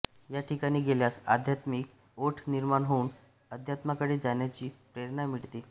या ठिकाणी गेल्यास आध्यात्मीक ओढ निर्माण होऊन आध्यात्माकडे जाण्याची प्रेरणा मिळते